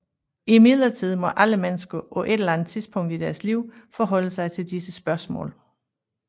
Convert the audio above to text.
Imidlertid må alle mennesker på et eller andet tidspunkt i deres liv forholde sig til disse spørgsmål